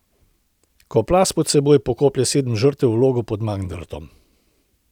Ko plaz pod seboj pokoplje sedem žrtev v Logu pod Mangartom ...